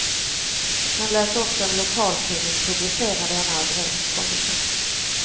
Han lät också en lokaltidning publicera denna överenskommelse.